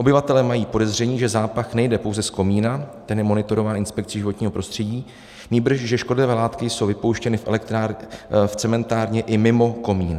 Obyvatelé mají podezření, že zápach nejde pouze z komína, ten je monitorován inspekcí životního prostředí, nýbrž že škodlivé látky jsou vypouštěny v cementárně i mimo komín.